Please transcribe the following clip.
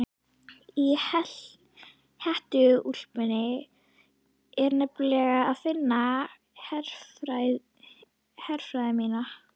Í hettuúlpunni er nefnilega að finna herfræði mína.